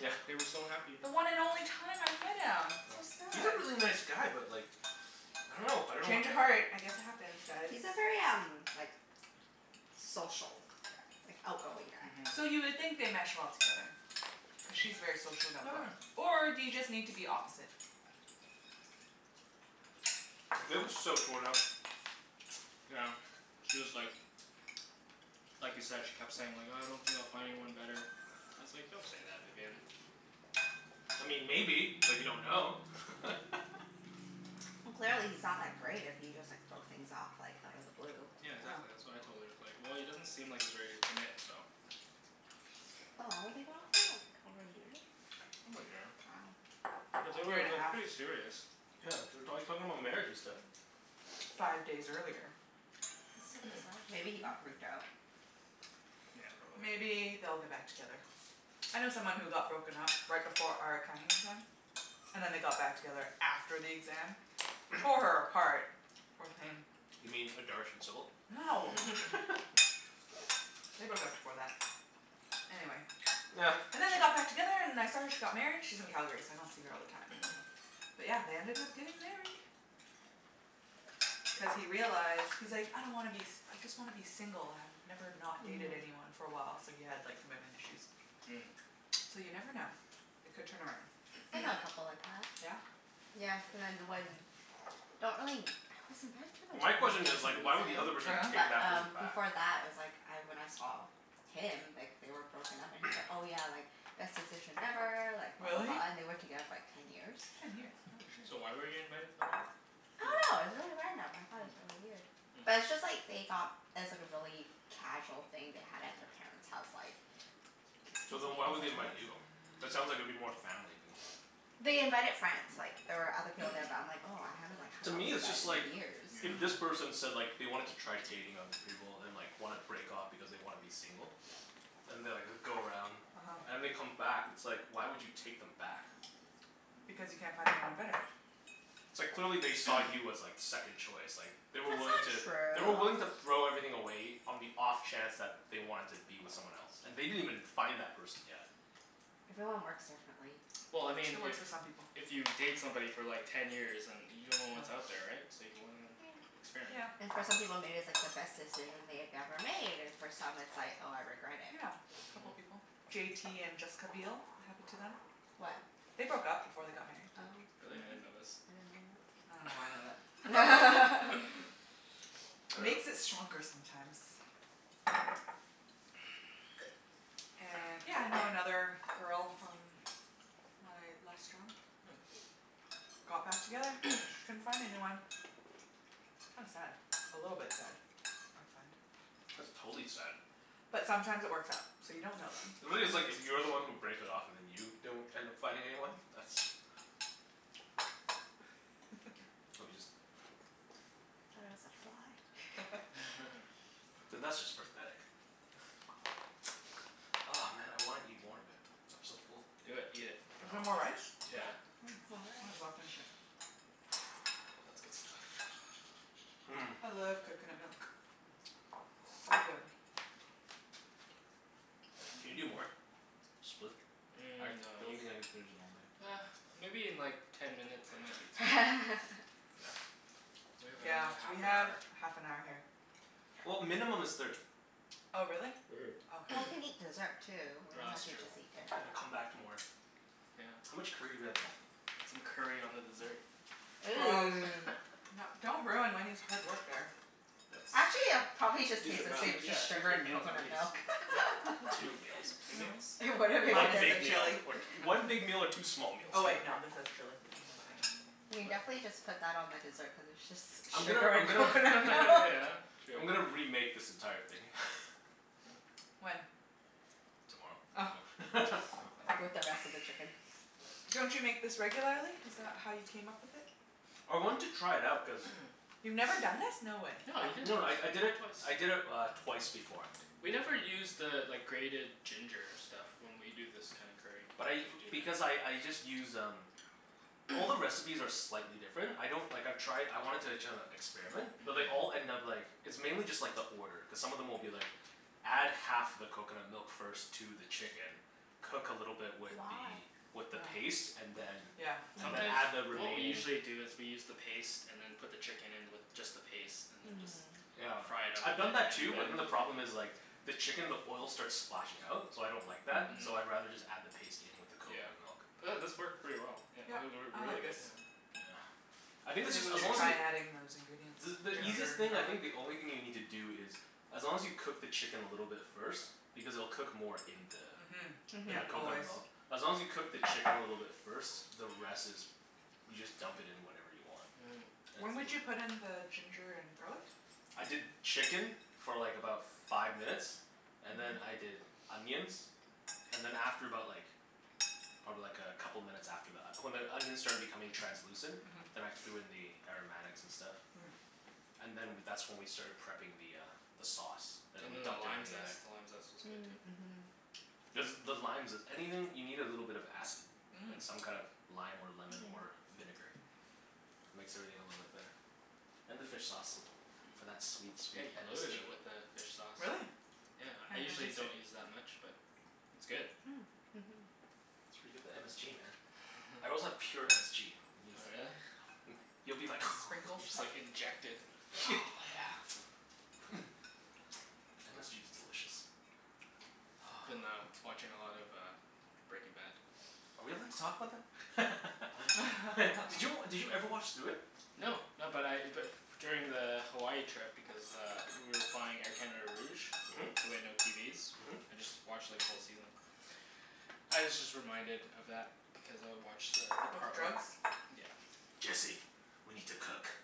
Yeah. They were so happy. The one and only time I met him. So Yeah. He's a sad. really nice guy but like I don't know. I don't know what Change of uh heart. I guess it happens, guys. He's a very um like social guy. Like, outgoing guy. Mhm. So you would think they mesh well together. Cuz she's very social and outgoing. Or do you just need to be opposite? Yeah. Viv was so torn up. Yeah, she was like like you said, she kept saying like, "Uh I don't think I'll find anyone better." I was like, "Don't say that, Vivienne." I mean maybe, but you don't know. Well clearly he's not that great if he just like broke things off like out of the blue. Yeah, uh-huh. exactly. That's what I told her. I was like, "Well, he doesn't seem like he's ready to commit, so" How long were they going out for? Like over a year? Over a year. But they Year were and a like half. pretty serious. Wow. Yeah, they were talk talking about marriage and stuff. Five days earlier. That's so bizarre. Maybe he got freaked out. Yeah, probably. Maybe they'll get back together. I know someone who got broken up right before our accounting exam. And then they got back together after the exam. Tore her apart, poor thing. You mean No. They broke up before that. Anyway. And then they got back together and I saw her, she got married. She's in Calgary so I don't see her all the time. But yeah, they ended up getting married. Cuz he realized, he's like, "I don't wanna be s- I just wanna be single." "I've never not dated anyone for a while." So he had like commitment issues. Mm. So you never know. It could turn around. Mhm. I know a couple like that. Yeah? Yeah, cuz I Don't really, I was invited to the My wedding, question for is like why would the some reason. other Oh person yeah? take But that person um back? before that I was like I, when I saw him, like they were broken up and he's like, "Oh yeah, like best decision ever, like blah, blah, Really? blah," and they were together for like ten years. Ten years? Holy shit. So why were you invited for the wedding? I dunno. It was Di- really random. I thought it was really weird. But Yeah. it's Hmm. just like they got it was like a really casual thing they had at their Mm. parents' house like k- So excuse me. then It why was at would they the invite house. you? That sounds like it'd be more family than They invited friends. Like there were other people there, but I'm like, "Oh, I haven't like To hung out me, with you it's guys just like in Yeah. years." if this Mhm. person said like they wanted to try dating other people and like wanna break off because they wanna be single. And they'll like go around uh-huh. and they come back. It's like why would you take them back? Because you can't find anyone better. It's like clearly they saw you as like second choice, like They That's were wiling not to They were willing true. to throw everything away on the off chance that they wanted to be with someone else. And they didn't even find that person yet. Everyone works differently. Well, I mean It if works for some people. if you date somebody for like ten years and you Yeah. don't know what's out there, right? So you wanna experiment. Yep. And for some people maybe it's like the best decision they had ever made and for some it's like, "Oh, I regret it." Yeah, a couple Mhm. people. J t and Jessica Biel. It happened to them. They broke up before they got married. Oh. Really? I Mhm. didn't know this. I dunno why I know that. I dunno. Makes it stronger sometimes. And yeah, I know another girl from my last job. Got back together. Couldn't find anyone. Hmm. Kinda sad. A little bit sad. I find. That's totally sad. But sometimes it works out. So you don't know then. Really it's like, if you're the one who breaks it off and then you don't end up finding anyone? That's Let me just Thought it was a fly. then that's just pathetic. Oh man, I wanna eat more but I'm so full. Do it. Eat it. Is No. there more rice? Yeah. Yeah. Mm, More might as well rice. finish it. That's good stuff. Mmm. I love coconut milk. So good. Can you do more? Split? I Mm, no don't you, think I can finish the whole thing. ah, maybe in like ten minutes I might eat something. We have Yeah, another half we an have hour. half an hour here. Yeah. Well, minimum is thirty. Oh, really? Mhm. Oh, okay. Well, we can eat dessert, too. We No, don't have that's to true. just eat dinner. And then come back to more. Yeah. How much curry do we have left? Put some curry on the dessert. Gross. Ooh. No, don't ruin Wenny's hard work there. That's, Actually it'll probably Decent just taste the meal. same. It's yeah, just two, sugar three and meals at coconut least. milk. Yep. Two meals. Two Yeah. meals? It wouldn't Well, make a one Minus the big difference. meal, chili. or one big meal or two small Oh meals. wait, no, this has chili. What am I saying? You can What? definitely just put that on the dessert cuz it's just I'm gonna sugar I'm and gonna coconut milk. Yeah, true. I'm gonna remake this entire thing. When? Tomorrow. Oh. No. With the rest of the chicken. Don't you make this regularly? Is that how you came up with it? I wanted to try it out cuz You've never done this? No way. No, you did it, No no, I I you did did it, it twice. I did it uh twice before. We never use the like grated ginger stuff when we do this kinda curry. But I, Do because that. I I just use um All the recipes are slightly different. I don't, like I've tried, I wanted to kinda experiment. But they all Mhm. Mhm. end up like It's mainly just like the order, cuz some of them will be like Add half the coconut milk first to the chicken cook a little bit with Why? the with the paste and then Yeah. Yeah. and then Mm. Sometimes, add the what we remaining usually do is we use the paste and then put the chicken in with just the paste and then just Mm. Yeah, fry it up a I've bit done that and too but then then the the problem is like the chicken, the oil starts splashing out. So I don't like that. Mm. So Mhm. I'd rather just add the paste in with the Yeah. coconut milk. But this Hmm. worked pretty well, yeah Yep, or or I really like this. good, yeah. Yeah. I think this Maybe is, we as should long as try y- adding those ingredients. The the easiest Yeah. Ginger and thing I garlic. think, the only thing you need to do is as long as you cook the chicken a little bit first because it'll cook more in the Mhm. in Yeah, the Mhm. always. coconut milk. As long as you cook the chicken a little bit first, the rest is you just dump it in whenever you want. Mm. It's When w- would you put in the ginger and garlic? I did chicken for like about five minutes and then Mhm. I did onions. And then after about like probably like a couple minutes after that. When the onions started becoming translucent. Mhm. Then I threw in the aromatics and stuff. Mm. And then w- that's when we started prepping the uh the sauce. And then And we then the dumped lime everything in there. zest. The lime zest was good, too. Mm. Mhm. Cuz the limes is, anything, you need a little bit of acid. Mm. Like some kind of lime or Yeah. lemon or vinegar. Makes everything a little bit better. And the fish sauce. Mhm. For that sweet, Yeah, sweet you loaded MSG. it with the fish sauce. Really? Yeah, I Can't even usually taste it. don't use that much but it's good. Mm. Mhm. That's where you get the MSG, man. I also have pure MSG if Oh, yo- really? Hmm, you'll be The like sprinkle You just stuff? like inject it. Oh yeah. MSG is delicious. Been uh watching a lot of uh Breaking Bad. Are we allowed to talk about that? I dunno. Did you, did you ever watch through it? No. No, but I but f- during the Hawaii trip because uh we were flying Air Canada Rouge Mhm. so we had no TVs. Mhm. I just watched like a whole season. I was just reminded of that because I watched the the With part where drugs? Yeah. Jesse. We need to cook.